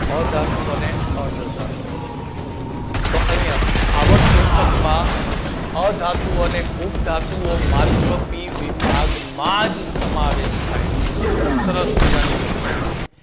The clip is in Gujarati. અધાતુ અને અર્ધ ધાતુ તો અહીંયા આવર્ત કોષ્ટકમાં અધાતુ અને ઉપધાતુઓ માત્ર P વિભાગમાં જ સમાવેશ થાય છે સરસ મજાની વસ્તુ કીધી